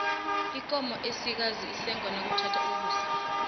ikomo esikazi isengwa nakuthatha ukusa